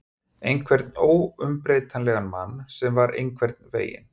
Einhvern óumbreytanlegan mann sem var einhvern veginn.